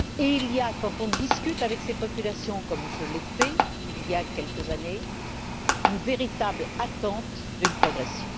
Il y a, quand on discute avec ces populations, comme je l'ai fait il y a quelques années, une véritable attente d'une progression.